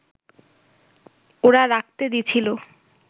ওরা রাখতে দিছিল